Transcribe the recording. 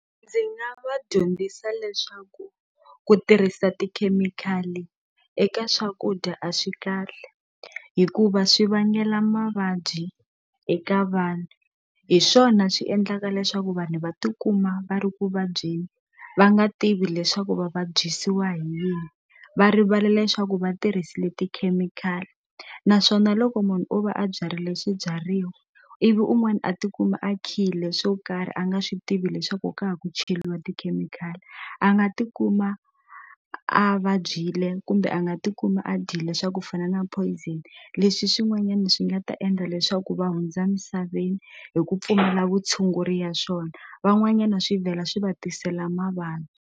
Ndzi nga va dyondzisa leswaku ku tirhisa tikhemikhali eka swakudya a swi kahle hikuva swi vangela mavabyi eka vanhu hi swona swi endlaka leswaku vanhu va tikuma va ri ku vabyeni va nga tivi leswaku va vabyisiwa hi yini va rivala leswaku va tirhisile tikhemikhali naswona loko munhu o va a byarile swibyariwa ivi un'wana a tikuma a khile swo karhi a nga swi tivi leswaku ka ha ku cheliwa tikhemikhali a nga tikuma a vabyile kumbe a nga tikuma a dyile swa ku ku fana na poison leswi swin'wanyani swi nga ta endla leswaku va hundza misaveni hi ku pfumala vutshunguri ya swona van'wanyana swi vhela swi va tisela mavabyi.